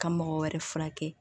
Ka mɔgɔ wɛrɛ furakɛ